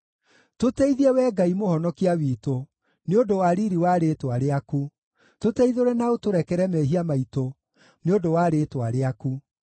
Tũteithie, Wee Ngai Mũhonokia witũ; nĩ ũndũ wa riiri wa rĩĩtwa rĩaku; tũteithũre na ũtũrekere mehia maitũ nĩ ũndũ wa rĩĩtwa rĩaku.